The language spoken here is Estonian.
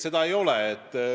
Seda ei ole.